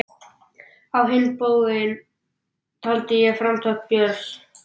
Á hinn bóginn taldi ég framtak Björns